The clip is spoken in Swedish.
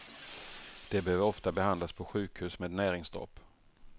De behöver ofta behandlas på sjukhus med näringsdropp.